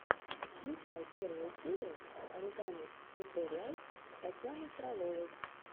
включай первую серию оригами тьюториалс татьяны фроловой